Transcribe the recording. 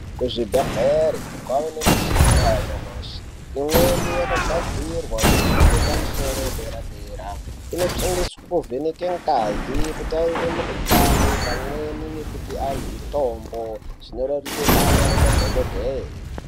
Kuzvi bhedhleri kwave nemichina yanyamashi imweni yakagadzirwa nemhando yepamusoro yepadera-dera. Inoshandiswe kuvheneke ngazi, kutarire mikuhlani pamweni nekupe antu mitombo, zvinorerutse basa rema dhogodheye.